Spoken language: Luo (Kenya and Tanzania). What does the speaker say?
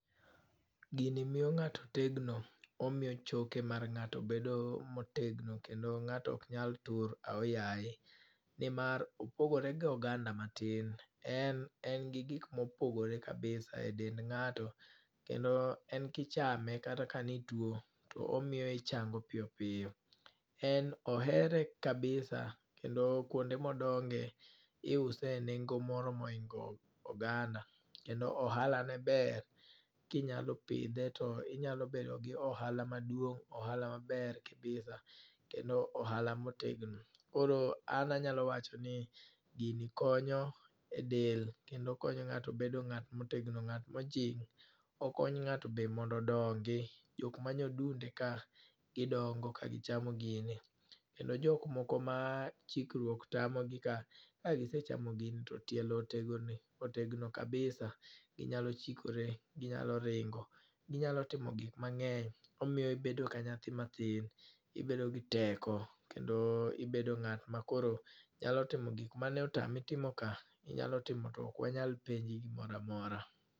Gini miyo ngáto tegno. Omiyo choke mar ngáto bedo motegno, kendo ngáto ok nyal tur ahoyaye. Ni mar opogore gi oganda matin. En en gi gik mopogore kabisa e dend ngáto. Kendo en kichame, kata ka ne itwo, to omiyo ichango piyo piyo. En ohere kabisa kendo kuonde modonge iuse e nengo moro ma ohingo oganda. Kendo ohala ne ber, kinyalo pidhe to inyalo bedo gi ohala maduong', ohala maber kabisa. Kendo ohala motegno. Koro an anyalo wacho ni gini konyo e del, kendo okonyo ngáto bedo ngát ma otegno, ngát ma ojing'. Okonyo ngáto bende mondo odongi. Jok ma nyodunde ka, gidongo ka gichamo gini. Kendo jok moko ma chikruok tamo gi ka, ka gisechamo gini to tielo otegone, otegno kabisa. Ginyalo chikore, ginyalo ringo, inyalo timo gik mangény. Omiyo ibedo ka nyathi matin. Ibedo gi teko, kendo ibedo ngát ma koro nyalo timo gik mane otame timo ka, inyalo timo to ok wanyal penji gimoro amora.